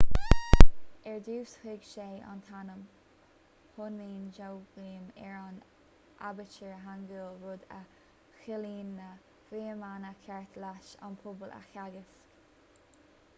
ar dtús thug sé an t-ainm hunmin jeongeum ar an aibítir hangeul rud a chiallaíonn na fuaimeanna cearta leis an pobal a theagasc